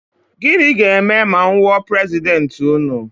Gịnị ga-eme ma m wụọ prezidenti ụnụ?